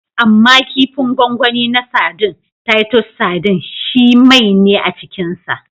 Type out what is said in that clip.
Amma kifin gwangwani na sadin (Titus sardines) shi mai ne a cikinsa.